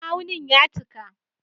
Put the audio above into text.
Ma'aunin ya cika